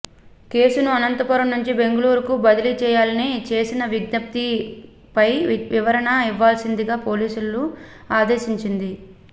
కేసును అనంతపురం నుంచి బెంగుళూరుకు బదిలీ చేయాలని చేసిన విజ్ఞప్తిపై వివరణ ఇవ్వాల్సిందిగా పోలీసులను ఆదేశించింది